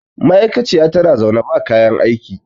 ma'aikaciya tana zaune ba kayan aiki